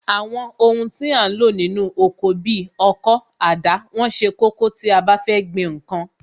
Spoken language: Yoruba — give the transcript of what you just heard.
Àwọn ohun tí a ń lò nínú oko bi ọkọ́, àdá, wọ́n ṣe kókó tí a bá fẹ́ gbìn ǹkan